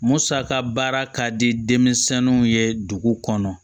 Musaka baara ka di denmisɛnninw ye dugu kɔnɔ